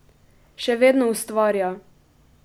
Še vedno ustvarja!